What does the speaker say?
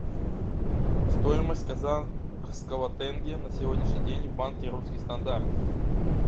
стоимость казахского тенге на сегодняшний день в банке русский стандарт